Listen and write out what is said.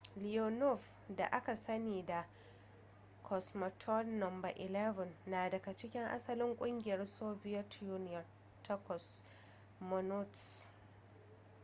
leonov da aka sani da cosmonaut no 11 na daga cikin asalin ƙungiyar soviet union ta cosmonauts